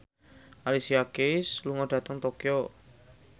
Alicia Keys lunga dhateng Tokyo